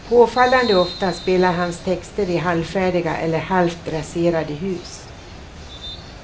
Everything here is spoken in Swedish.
Påfallande ofta spelar hans texter i halvfärdiga eller halvt raserade hus.